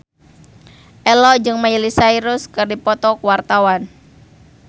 Ello jeung Miley Cyrus keur dipoto ku wartawan